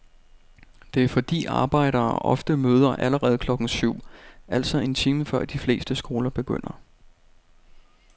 Det er fordi arbejdere ofte møder allerede klokken syv, altså en time før de fleste skoler begynder.